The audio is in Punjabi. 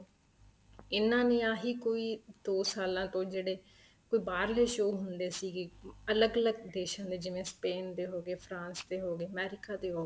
ਇਹਨਾ ਦੀਆਂ ਹੀ ਕੋਈ ਦੋ ਸਾਲਾ ਤੋਂ ਜਿਹੜੇ ਕੋਈ ਬਾਹਰਲੇ show ਹੁੰਦੇ ਸੀਗੇ ਅਲੱਗ ਅਲੱਗ ਦੇਸ਼ਾਂ ਦੇ ਜਿਵੇਂ Spain ਦੇ ਹੋ ਗਏ France ਦੇ ਹੋ ਗਏ america ਦੇ ਹੋ ਗਏ